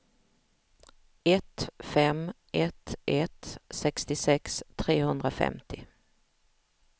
ett fem ett ett sextiosex trehundrafemtio